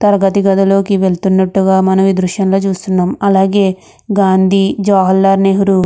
తరగతి గదిలోకి వెళ్తున్నట్టుగా మనవి దృశ్యంలో చూస్తున్నాం అలాగే గాంధీ జవహర్లాల్ నెహ్రూ --